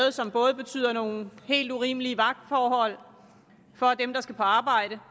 og som både betyder nogle helt urimelige vagtforhold for dem der skal arbejde